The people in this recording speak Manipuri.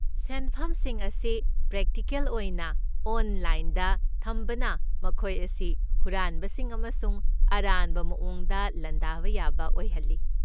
ꯁꯦꯟꯐꯝꯁꯤꯡ ꯑꯁꯤ ꯄ꯭ꯔꯦꯛꯇꯤꯀꯦꯜ ꯑꯣꯏꯅ 'ꯑꯣꯟꯂꯥꯏꯟꯗ' ꯊꯝꯕꯅ ꯃꯈꯣꯏ ꯑꯁꯤ ꯍꯨꯔꯥꯟꯕꯁꯤꯡ ꯑꯃꯁꯨꯡ ꯑꯔꯥꯟꯕ ꯃꯑꯣꯡꯗ ꯂꯥꯟꯗꯥꯕ ꯌꯥꯕ ꯑꯣꯏꯍꯜꯂꯤ꯫